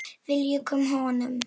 Við ljúkum honum.